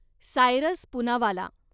Cyrus Poonawalla